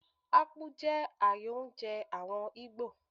Akpu jẹ́ ààyò oúnjẹ àwọn Ìgbò.